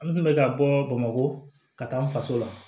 An kun bɛ ka bɔ bamakɔ ka taa an faso la